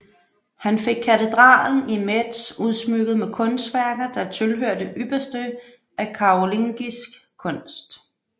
Han fik katedralen i Metz udsmykket med kunstværker der tilhører det ypperste af karolingisk kunst